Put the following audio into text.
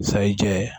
Sayi jɛ